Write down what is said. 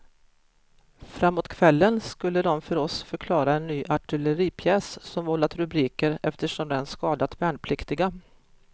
Framåt kvällen skulle de för oss förklara en ny artilleripjäs som vållat rubriker eftersom den skadat värnpliktiga.